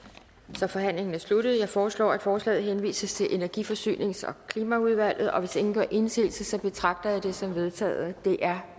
så forhandlingen er sluttet jeg foreslår at forslaget henvises til energi forsynings og klimaudvalget og hvis ingen gør indsigelse betragter jeg det som vedtaget det er